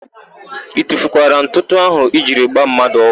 I tufukwara ntụtụ áhụ̀ i jiri gbaa mmadụ ọgwụ?